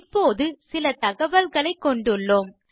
இப்போது சில தகவல்களைக் கொண்டுள்ளோம்